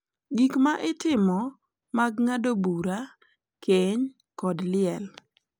Gik ma itimo mag ng’ado bura, keny, kod liel.